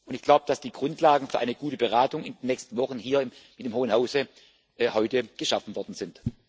Ich glaube, dass die Grundlagen für eine gute Beratung in den nächsten Wochen hier in dem Hohen Hause heute geschaffen worden sind.